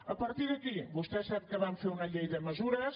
a partir d’aquí vostè sap que vam fer una llei de me·sures